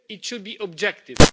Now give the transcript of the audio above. It should be objective.